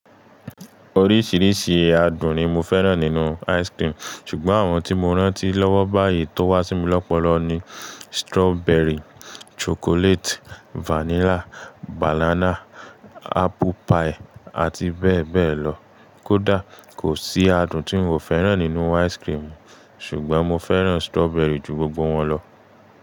Oríṣìíríṣìí adùn ni mo fẹ́ràn nínú ice krim ṣùgbọ́n àwọn tí mo rántí lọ́wọ́ báyìí tó wá sí mi lọ́pọ̀lọpọ̀ ni strọberi, ṣocolati, fanila, banana, apuu pai àti bẹ́ẹ̀ bẹ́ẹ̀ lọ. Kódà kò sí adùn tí n ò fẹ́ràn nínú ice krim, ṣùgbọ́n mo fẹ́ràn strọberi ju gbogbo wọn lọ.